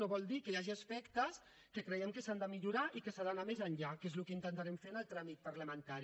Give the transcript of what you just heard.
no vol dir que hi hagi aspectes que creiem que s’han de millorar i que s’ha d’anar més enllà que és el que intentarem fer amb el tràmit parlamentari